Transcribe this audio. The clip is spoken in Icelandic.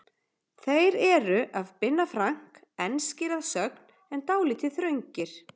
Þeir eru af Binna Frank, enskir að sögn en dálítið þröngir.